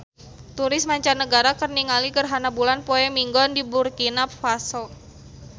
Turis mancanagara keur ningali gerhana bulan poe Minggon di Burkina Faso